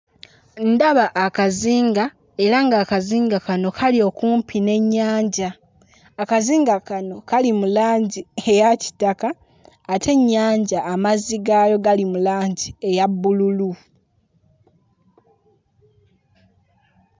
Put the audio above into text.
Ndaba akazinga era ng'akazinga kano kali okumpi n'ennyanja. Akazinga kano kali mu langi eya kitaka ate ennyanja amazzi gaayo gali mu langi eya bbululu.